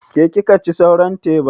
Ke kika ci sauran teban?